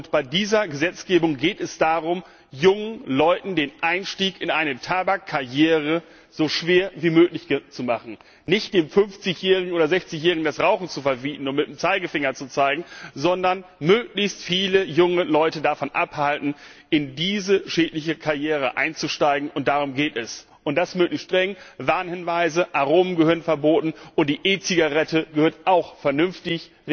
Und bei dieser Gesetzgebung geht es darum, jungen Leuten den Einstieg in eine Tabakkarriere so schwer wie möglich zu machen, nicht dem 50 oder 60 Jährigen das Rauchen zu verbieten und mit dem Zeigefinger zu zeigen, sondern möglichst viele junge Leute davon abzuhalten, in diese schädliche Karriere einzusteigen, und darum geht es und das möglichst streng Warnhinweise, Aromen gehören verboten, und die E Zigarette gehört auch vernünftig